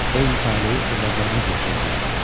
Eyni taleyi övladlarımız yaşaya bilər.